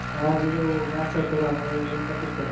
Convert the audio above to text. ଆଜି ଯୋଉ match ଟା ଥିଲା ଆମର ଇଂଲଣ୍ଡ ପାକିସ୍ତାନ?